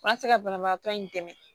An ka se ka banabaatɔ in dɛmɛ